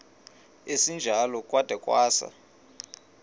esinjalo kwada kwasa